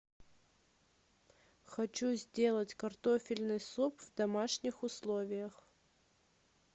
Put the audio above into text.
хочу сделать картофельный суп в домашних условиях